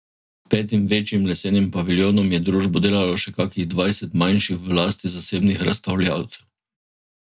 Petim večjim lesenim paviljonom je družbo delalo še kakih dvajset manjših v lasti zasebnih razstavljavcev.